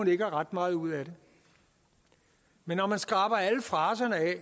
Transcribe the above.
ikke har ret meget ud af det men når man skraber alle fraserne af